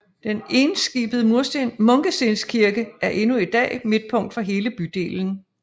Den enskibede munkestenkirke er endnu i dag midtpunkt for hele bydelen